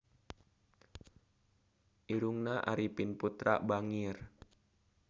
Irungna Arifin Putra bangir